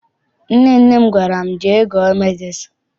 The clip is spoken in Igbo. Nnenne gwara m, jee gụọ medịcịn!